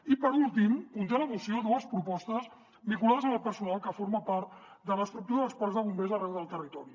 i per últim conté la moció dues propostes vinculades amb el personal que forma part de l’estructura dels parcs de bombers arreu del territori